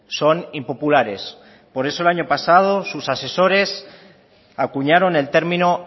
son impopulares por eso el año pasado sus asesores acuñaron el término